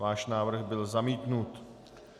Váš návrh byl zamítnut.